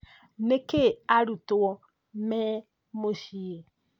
Nĩkĩĩ arutwo mĩ mũciĩ